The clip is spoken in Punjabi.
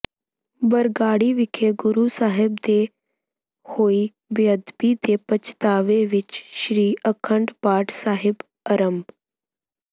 ਬਰਗਾੜੀ ਵਿਖੇ ਗੁਰੂ ਸਾਹਿਬ ਦੇ ਹੋਈ ਬੇਅਦਬੀ ਦੇ ਪਛਤਾਵੇ ਵਿਚ ਸ੍ਰੀ ਅਖੰਡ ਪਾਠ ਸਾਹਿਬ ਆਰੰਭ